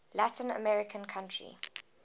latin american country